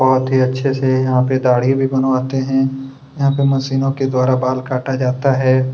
बहोत ही अच्छे से यहाँ पर दाढ़ी भी बनवाते हैं यहाँ पे मशीनों के द्वारा बाल काटा जाता है।